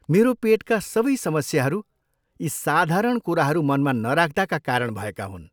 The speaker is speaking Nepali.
मेरो पेटका सबै समस्याहरू यी साधारण कुराहरू मनमा नराख्दाका कारण भएका हुन्।